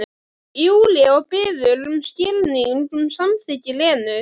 Júlía og biður um skilning, um samþykki Lenu.